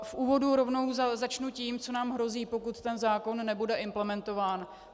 V úvodu rovnou začnu tím, co nám hrozí, pokud ten zákon nebude implementován.